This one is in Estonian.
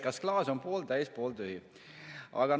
Kas klaas on pooltäis või pooltühi?